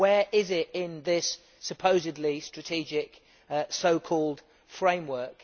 Where is it in this supposedly strategic so called framework?